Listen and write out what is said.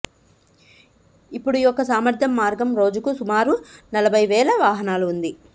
ఇప్పుడు యొక్క సామర్థ్యం మార్గం రోజుకు సుమారు నలభై వేల వాహనాలు ఉంది